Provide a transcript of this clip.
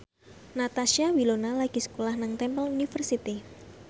Natasha Wilona lagi sekolah nang Temple University